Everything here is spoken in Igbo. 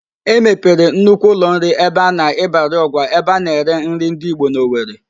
E mepere nnukwu ụlọnri a na-Ịbarịọgwa ebe a na-ere nri ndị ịgbo n'Owere.